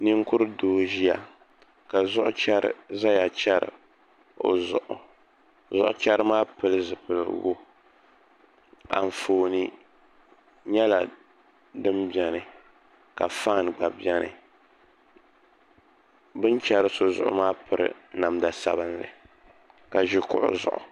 Ninkurigu doo n ʒiya ka zuɣu chɛri ʒɛya chɛri o zuɣu zuɣu chɛri maa pili zipiligu Anfooni nyɛla din biɛni ka faan gba biɛni bi ni chɛri so zuɣu maa piri namda sabinli ka ʒi kuɣu zuɣu